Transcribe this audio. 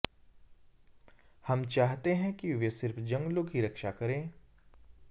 हम चाहते हैं कि वे सिर्फ जंगलों की रक्षा करें